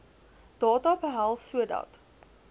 data behels sodat